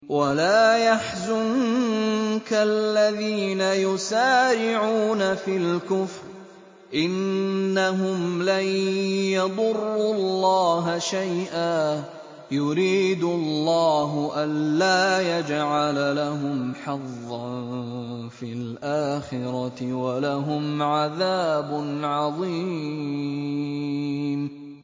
وَلَا يَحْزُنكَ الَّذِينَ يُسَارِعُونَ فِي الْكُفْرِ ۚ إِنَّهُمْ لَن يَضُرُّوا اللَّهَ شَيْئًا ۗ يُرِيدُ اللَّهُ أَلَّا يَجْعَلَ لَهُمْ حَظًّا فِي الْآخِرَةِ ۖ وَلَهُمْ عَذَابٌ عَظِيمٌ